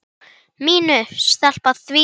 MÍNU. Stela því?